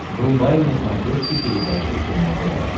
врубай на смотрешке передачу кино тв